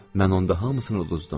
Mən onda hamısını udzdum.